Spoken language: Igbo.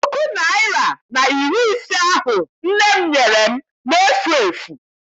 Puku naịra na iri ise ahụ nne m nyere m na-efu efu.